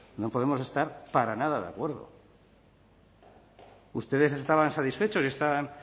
no podemos estar para nada de acuerdo ustedes estaban satisfechos y están